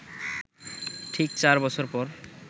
ঠিক চার বছর পর